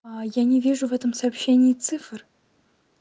я не вижу в этом сообщении цифр